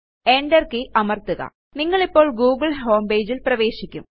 ENTER key അമർത്തുക നിങ്ങളിപ്പോൾ Google homepageൽ പ്രവേശിക്കും